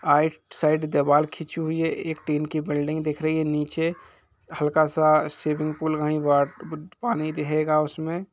आइट side दिवाल खींची हुई है एक टीन की बिल्डिंग दिख रही है निचे हलका सा स्विमिंग पूल वही गवा गुड पानी दिखेगा उसमे--